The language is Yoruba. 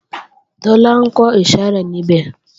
Tọ́lá ńkọ ìsàrẹ́ níbẹ̀